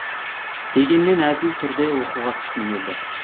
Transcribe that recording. дегенмен әділ түрде оқуға түскім келді